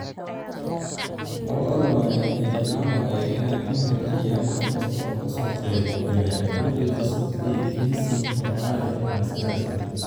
Labada lamaane waxay jeclaan lahaayeen inay u mahadceliyaan qof kasta oo ka soo qayb galay xafladooda Sabtidii, Kensington Palace ayaa sidaas yidhi.